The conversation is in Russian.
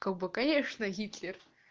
как бы конечно гитлер